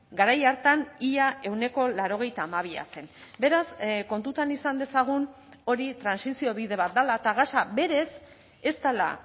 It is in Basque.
garai hartan ia ehuneko laurogeita hamabia zen beraz kontutan izan dezagun hori trantsizio bide bat dela eta gasa berez ez dela